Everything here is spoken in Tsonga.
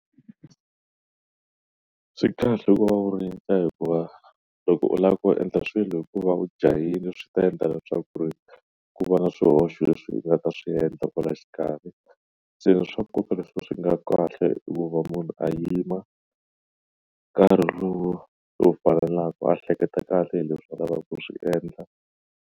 Swi kahle ku va u rindza hikuva loko u lava ku endla swilo hikuva u jahile swi ta endla leswaku ri ku va na swihoxo leswi nga ta swi endla kwala xikarhi se swa nkoka leswi swi nga kahle hi ku va munhu a yima nkarhi lowu lowu faneleke a hleketa kahle hi leswi a lavaka ku swi endla.